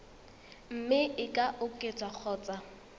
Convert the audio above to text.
mme e ka oketswa kgotsa